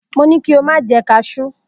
Mo ni ki o ma je kajú!